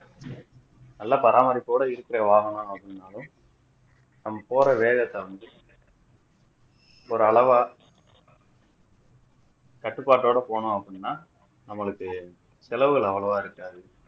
நல்லா பாராமரிப்போட இருக்கிற வாகனம் அப்படின்னாலும் நம்ம போற வேகத்தை வந்து ஒரு அளவா கட்டுப்பாட்டோட போனோம் அப்படின்னா நம்மளுக்கு செலவுகள் அவ்வளவு இருக்காது